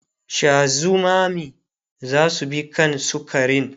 Sha zumami zasu bi kan sukarin